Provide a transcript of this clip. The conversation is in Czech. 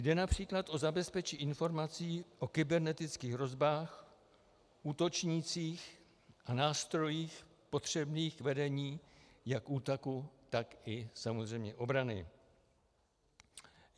Jde například o zabezpečení informací o kybernetických hrozbách, útočnících a nástrojích potřebných k vedení jak útoku, tak i samozřejmě obrany.